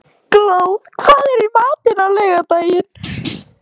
Glóð, hvað er í matinn á laugardaginn?